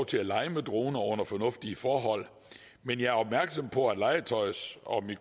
til at lege med droner under fornuftige forhold men jeg er opmærksom på at legetøjs og